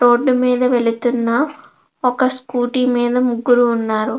Road మీద వెళ్తున్న ఒక స్కూటీ మీద ముగ్గురు ఉన్నారు.